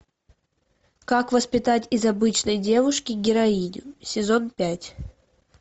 как воспитать из обычной девушки героиню сезон пять